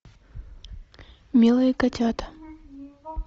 милые котята